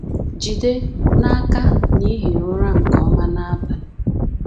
Jide n’aka na i hiri ụra nke ọma n’abalị